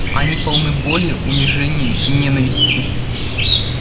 они полны боли унижения ненависти